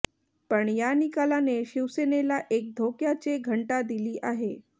पण या निकालाने शिवसेनेला एक धोक्याचे घंटा दिली आहे